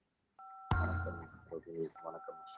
வணக்கம் ரோஹினி வணக்கம் அசோக்